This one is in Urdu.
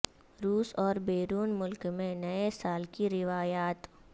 روس اور بیرون ملک میں نئے سال کی روایات